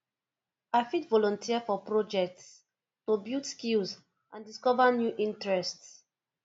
i fit volunteer for projects to build skills and discover new interests